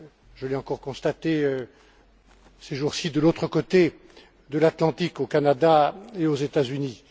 Je l'ai encore constaté, ces jours ci, de l'autre côté de l'Atlantique, au Canada et aux États Unis.